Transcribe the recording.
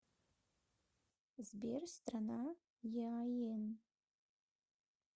сбер страна еаен